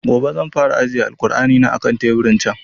Gobe zan fara ajiye kur'ani na a kan tebur ɗin can